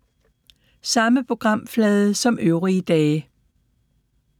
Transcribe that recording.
Samme programflade som øvrige dage